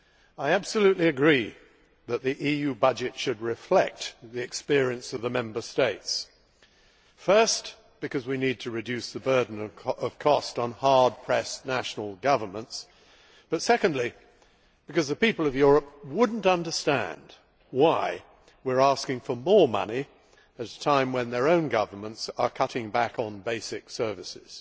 I absolutely agree that the EU budget should reflect the experience of the Member States, first because we need to reduce the burden of cost on hard pressed national governments and second, because the people of Europe would not understand why we are asking for more money at a time when their own governments are cutting back on basic services.